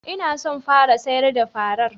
N'na so n fara sayar da farar.